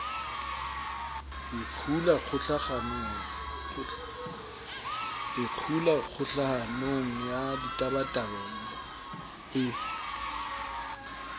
ikgula kgohlanong ya ditabatabelo e